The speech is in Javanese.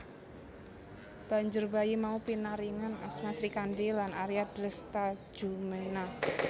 Banjur bayi mau pinaringan asma Srikandhi lan Arya Dresthajumena